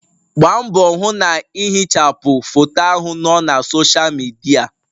Gbaa mbọ hụ na ihichapụ foto ahụ nọ na Sọsha Midia.!